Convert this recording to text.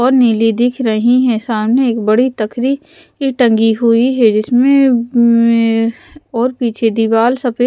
और नीली दिख रही हैं सामने एक बड़ी तकरी टंगी हुई है जिसमें और पीछे दीवार सफेद--